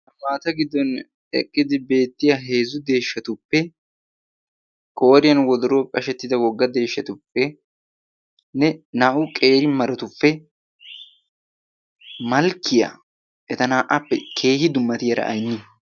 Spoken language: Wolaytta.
maata giddon eqqidi beettiya heezzu deeshshatuppe qoriyan wodro phe ashettida wogga deeshshatuppe ne naa'u qeeri maratuppe malkkiyaa eta naa'aappe keehi dummatiyara aynni